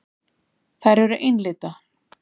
Þær eru einlitna.